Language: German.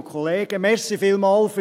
Ich stelle hier klar: